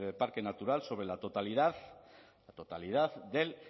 parque natural sobre la totalidad del